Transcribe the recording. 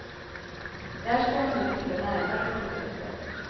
Där ska man nu titta närmare på produkten.